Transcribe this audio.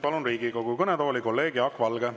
Palun Riigikogu kõnetooli kolleeg Jaak Valge.